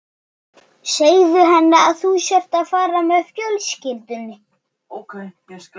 Segðu henni að þú sért að fara með fjölskyldunni